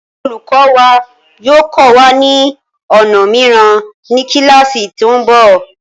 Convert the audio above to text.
Olùkọ wa yóò kọ́ wa ni ọnà mìíràn ní kíláásì tí ń bọ̀.